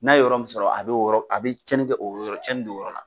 N'a ye yɔrɔ min sɔrɔ a be a o yɔrɔ a be cɛnin kɛ o yɔrɔ a be cɛnin do o yɔrɔ la